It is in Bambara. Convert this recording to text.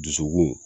Dusukun